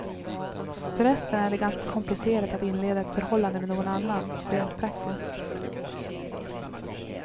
Förresten är det ganska komplicerat att inleda ett förhållande med någon annan, rent praktiskt.